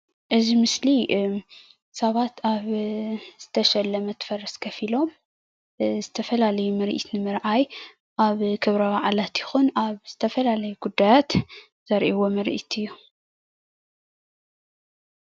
እዚ ምስሊ ሰባት ኣብ ዝተሸለመት ፈረስ ኮፍ ኢሎም ዝተፈላለዩ ምርኢት ንምራኣይ ኣብ ክብረ በዓላት ይኩን ኣብ ዝተፈላለዩ ጉዳያት ዘሪእዎ ምርኢት እዩ ።